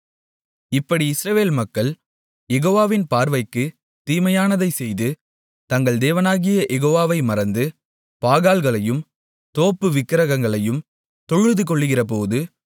இப்படி இஸ்ரவேல் மக்கள் யெகோவாவின் பார்வைக்குத் தீமையானதைச் செய்து தங்கள் தேவனாகிய யெகோவாவை மறந்து பாகால்களையும் தோப்பு விக்கிரகங்களையும் தொழுதுகொள்கிறபோது